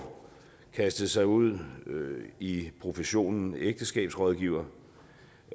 kastede sig ud i professionen ægteskabsrådgiver